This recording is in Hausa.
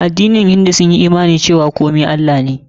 Addinin hindu sun yi imani cewa komai Allah ne.